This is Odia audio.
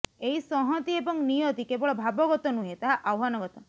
ଏହି ସଂହତି ଏବଂ ନିୟତି କେବଳ ଭାବଗତ ନୁହେଁ ତାହା ଆହ୍ୱାନଗତ